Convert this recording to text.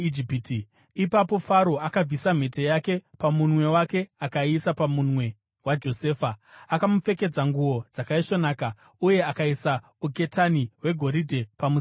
Ipapo Faro akabvisa mhete yake pamunwe wake akaiisa pamunwe waJosefa. Akamupfekedza nguo dzakaisvonaka uye akaisa uketani hwegoridhe pamutsipa wake.